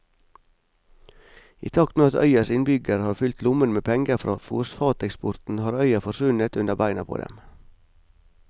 I takt med at øyas innbyggere har fylt lommene med penger fra fosfateksporten har øya forsvunnet under beina på dem.